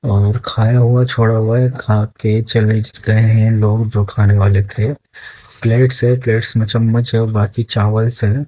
और खाया हुआ छोड़ा हुआ है खा के चले गए है लोग जो खाने वाले थे प्लेट्स है प्लेट्स मे चम्मच है और बाकी चावल्स है।